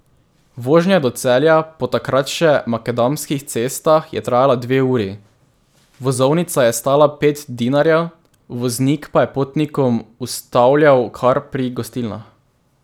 Vožnja do Celja po takrat še makadamskih cestah je trajala dve uri, vozovnica je stala pet dinarjev, voznik pa je potnikom ustavljal kar pri gostilnah.